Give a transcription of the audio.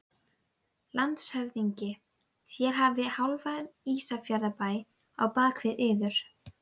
Líf sérhvers einstaklings hefur sama gildi og líf allra annarra.